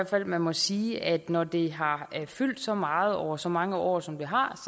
fald man må sige at når det har fyldt så meget over så mange år som det har